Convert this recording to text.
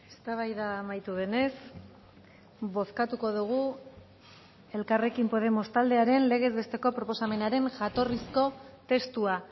eztabaida amaitu denez bozkatuko dugu elkarrekin podemos taldearen legez besteko proposamenaren jatorrizko testua